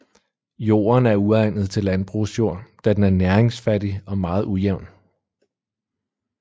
Jorden er uegnet til landbrugsjord da den er næringsfattig og meget ujævn